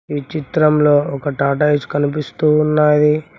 ఈ చిత్రంలో ఒక టాటాఇస్ కనిపిస్తూ ఉన్నాది.